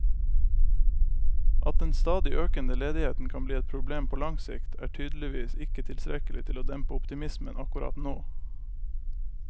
At den stadig økende ledigheten kan bli et problem på lang sikt, er tydeligvis ikke tilstrekkelig til å dempe optimismen akkurat nå.